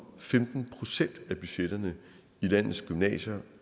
femten procent af budgetterne i landets gymnasier